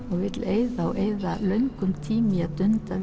og vill eyða löngum tíma í að dunda